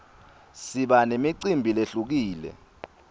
siba nemicimbi lehlukile